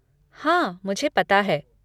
हाँ, मुझे पता है।